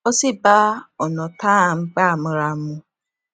ó sì bá ònà tá a n gbà mura mu